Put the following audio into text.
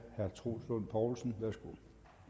troels lund poulsen værsgo